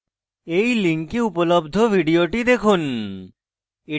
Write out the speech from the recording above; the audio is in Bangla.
এই link উপলব্ধ video দেখুন